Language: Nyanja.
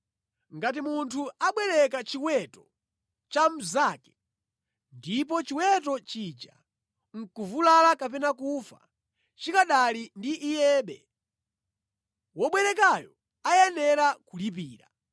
“Ngati munthu abwereka chiweto cha mnzake ndipo chiweto chija nʼkuvulala kapena kufa chikanali ndi iyebe, wobwerekayo ayenera kulipira.